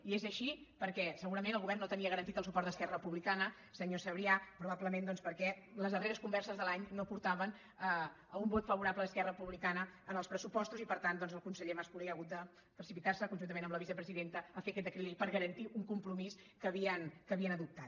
i és així perquè segurament el govern no te·nia garantit el suport d’esquerra republicana senyor sabrià probablement doncs perquè les darreres con·verses de l’any no portaven a un vot favorable d’es·querra republicana als pressupostos i per tant el conseller mas·colell ha hagut de precipitar·se con·juntament amb la vicepresidenta a fer aquest decret llei per garantir un compromís que havien adoptat